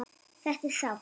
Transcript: Þetta er sárt.